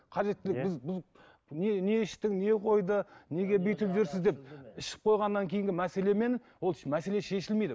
қажеттілік біз іштің не қойды неге бүйтіп жүрсіз деп ішіп қойғаннан кейінгі мәселемен ол мәселе шешілмейді